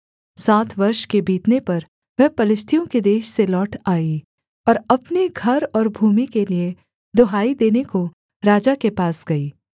सात वर्ष के बीतने पर वह पलिश्तियों के देश से लौट आई और अपने घर और भूमि के लिये दुहाई देने को राजा के पास गई